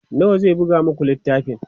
wa zai buga maku littafin?